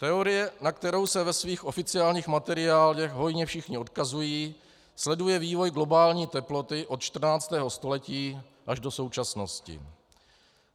Teorie, na kterou se ve svých oficiálních materiálech hojně všichni odkazují, sleduje vývoj globální teploty od 14. století až do současnosti.